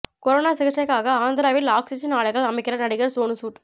corona சிகிச்சைக்காக ஆந்திராவில் oxygen ஆலைகள் அமைக்கிறார் நடிகர் சோனு சூட்